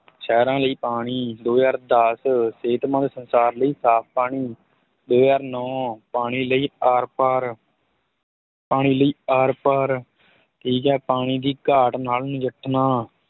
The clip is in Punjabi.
ਸਹਿਰਾਂ ਲਈ ਪਾਣੀ ਦੋ ਹਜ਼ਾਰ ਦਸ ਸਿਹਤਮੰਦ ਸੰਸਾਰ ਲਈ ਸਾਫ ਪਾਣੀ, ਦੋ ਹਜ਼ਾਰ ਨੋਂ ਪਾਣੀ ਲਈ ਆਰਪਾਰ ਪਾਣੀ ਲਈ ਆਰਪਾਰ, ਠੀਕ ਹੈ ਪਾਣੀ ਦੀ ਘਾਟ ਨਾਲ ਨਿਜੱਠਣਾ